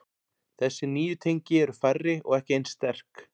Þessi nýju tengi eru færri og ekki eins sterk.